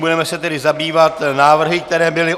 Budeme se tedy zabývat návrhy, které byly...